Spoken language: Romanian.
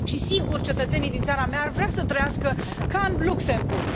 Sigur, cetățenii din țara mea ar vrea să trăiască ca în Luxemburg.